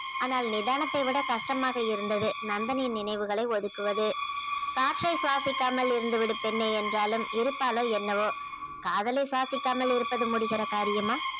ஆனால் நிதானத்தை விட கஷ்டமாக இருந்தது நந்தனின் நினைவுகளை ஒதுக்குவது காற்றை சுவாசிக்காமல் இருந்து விடும் பெண்ணே என்றாலும் இருப்பாளோ என்னவோ காதலை சுவாசிக்காமல் இருப்பது முடிகிற காரியமா